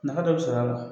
Nafa dɔ bɛ sɔrɔ a la